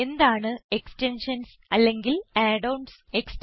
എന്താണ് എക്സ്റ്റെൻഷൻസ് അല്ലെങ്കിൽ add ons